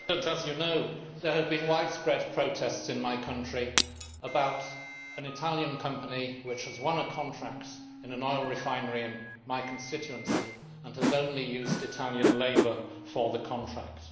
Madam President, as you know, there have been widespread protests in my country about an Italian company which has won a contract in an oil refinery in my constituency, and has only used Italian labour for the contract.